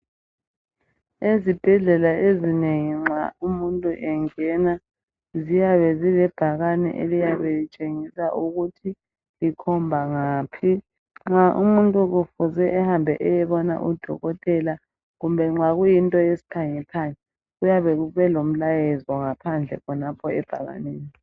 Ezibhedlela ezinengi nxa umuntu engena ziyabe zilebhakane eliyabe litshengisa ukuthi zikhomba ngaphi nxa umuntu kufuze ehambe eyebona udokotela kumbe nxa kuyinto yesiphange phange kuyabe kube lomlayezo ngaphandle khonapho ebhakaneni.